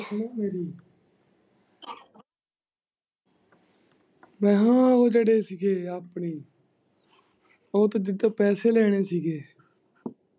ਮੈਂ ਕਿਹਾ ਉਹ ਜਿਹੜੇ ਕੀ ਆਪਣੇ ਉਹ ਤੂੰ ਜਿਦੇ ਤੋਂ ਪੈਸੇ ਲੈਣੇ ਸੀਗੇ।